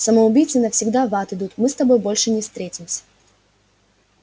самоубийцы навсегда в ад идут мы с тобой больше не встретимся